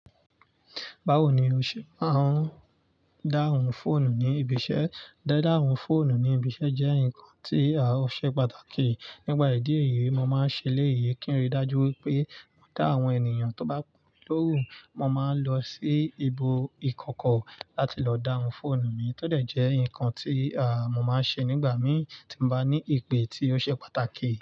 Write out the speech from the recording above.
Bawo ni o ṣe máa ń dáhùn fóònù ní ibi iṣẹ́? Dí dáhùn fóònù ní ibi iṣẹ́ jẹ́ nǹkan tí ò ṣe pàtàkì. Nípà ìdí èyí, mo máa ń ṣe éléyì kí n rí dájú wípé mo dá àwọn ènìyàn tó bá pè mí lóhún. Mo máa ń lọ sí ibù ìkọ́kọ́ láti lọ dáhùn fóònù mi tó dé jẹ́ ǹkan tí mọ́ máa ń ṣe nígbà mí tí m bá ní ìpè tí ó ṣe pàtàkì.